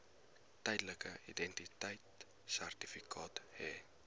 tydelike identiteitsertifikaat hê